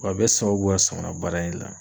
W'a bɛɛ sababu bɔra samana baara in de la.